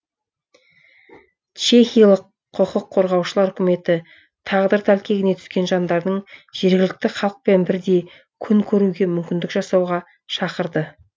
чехиялық құқық қорғаушылар үкіметі тағдыр тәлкегіне түскен жандардың жергілікті халықпен бірдей күн көруге мүмкіндік жасауға шақырды